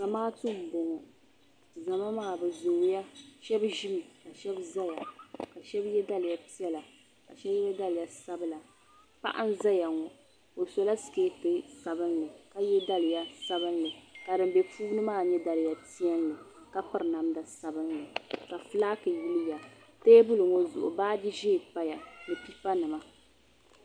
zamaatu m-bɔŋɔ zama maa bɛ zooi ya shɛba ʒimi ka shɛba zaya ka shɛba ye daliya piɛla ka shɛba ye daliya sabila paɣa n-zaya ŋɔ o sɔla sikeeti sabinli ka ye daliya sabinli ka di be puuni maa nyɛ daliya piɛlli ka piri namda sabinli ka fulaaki yili ya teebuli ŋɔ zuɣu baaji ʒee pa ya ni pipa nima.